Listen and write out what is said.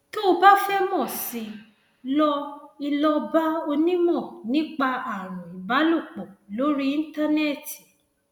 tó o bá fẹ mọ sí i lọ i lọ bá onímọ nípa ààrùn ìbálòpọ lórí íńtánẹẹtì